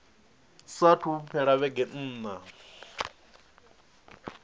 saathu u fhela vhege nṋa